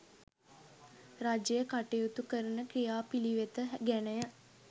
රජය කටයුතු කරන ක්‍රියාපිළිවෙත ගැනය